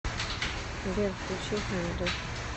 сбер включи хангри